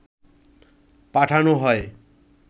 পাঠান হয়